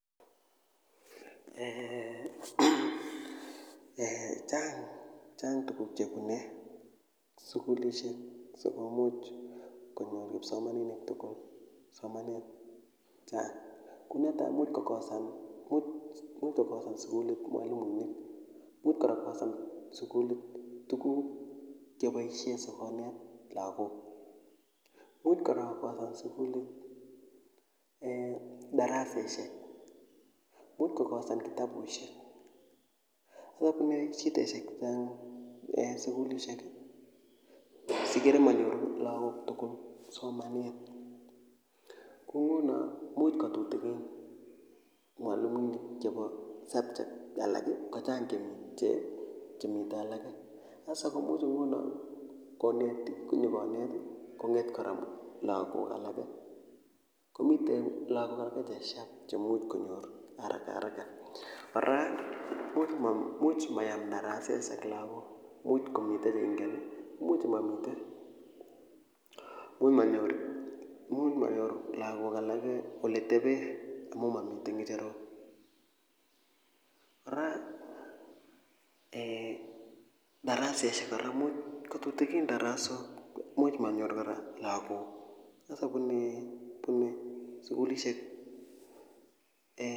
Eeeh ee chang' chang' tuguk chebune sugulisiek sikomuch konyor kipsomaninik tugul somanet chang konetai imuch kokosan sigulit mwalimuinik, imuch kora kokosan sugulit tuguk cheboisien sikonet lagok, imuch kora kokosan sugulit eeh darasaisiek, imuch kokosan kitabusiek, imuch konyor shidaisiek chechang sugulisiek sikere manyoru laak tugul somanet kongunoo imuch kotutikin mwalimuinik chebo subject alak kochang' chemitee alake ,sasa komuch ngunoo konetik konyokonet kong'et kora lagok alake komiten lagok alake che sharp chemuch konyor haraka haraka kora imuch mayam darasaisiek lagok imuch komiten imuch momiten imuch manyor lagok alake oleteben imuch momiten ng'echerok, kora eeh darasaisiek kora imuch kotutigin darasok imuch manyor kora lagok sasa bunee bunee sugulisiek eeh.